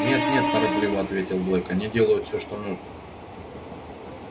нет нет торопливо ответил блэк они делают всё что нужно